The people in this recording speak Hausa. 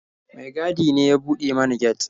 Mai gadin ne ya buɗe mana get.